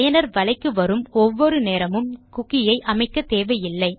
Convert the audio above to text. பயனர் வலைக்கு வரும் ஒவ்வொரு நேரமும் குக்கி ஐ அமைக்க தேவையில்லை